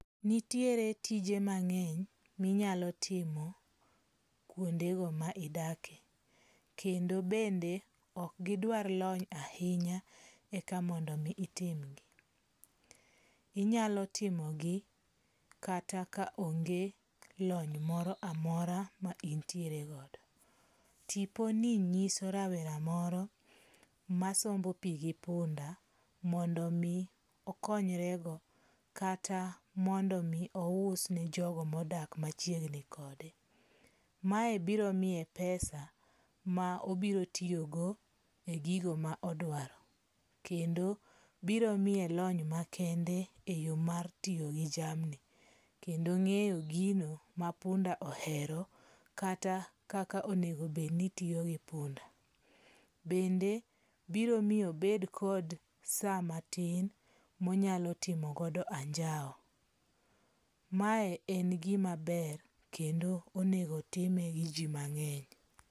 Nitiere tije mang'eny minyalo timo kuondego ma idake, kendo bende ok gidwar lony ahinya eka mondo itimgi. Inyalo timogi kata ka onge lony moro amora ma intiere godo. Tiponi nyiso rawera moro masombo pi gi punda mondo mi okonyre go kata mondo mi ous ne jogo modak machiegni kode. Mae biro miye pesa ma obiro tiyogo e gigo ma odwaro. Kendo biro miye lony makende e yo mar tiyo gi jamni, kendo ng'eyo gino ma punda ohero kata kaka onego obed ni itiyo gi punda. Bende biro miyo obed kod sa matin monyalo timogodo anjawo. Mae en gima ber kendo onego otime gi ji mang'eny.